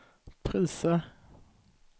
priser